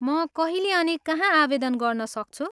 म कहिले अनि कहाँ आवेदन गर्न सक्छु?